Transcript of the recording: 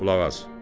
Qulaq as.